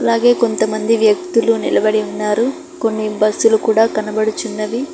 అదే కొంతమంది వ్యక్తులు నిలబడి ఉన్నారు కొన్ని బస్సులు కూడా కనబడుచున్నది.